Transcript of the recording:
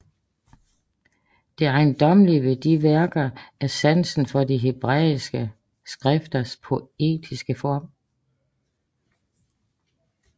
Det ejendommelige ved disse værker er sansen for de hebræiske skrifters poetiske form